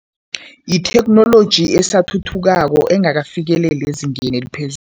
Yitheknoloji esathuthukako engakafikeleli ezingeni